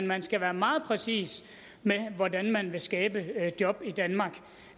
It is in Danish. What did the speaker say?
man skal være meget præcis med hvordan man vil skabe job i danmark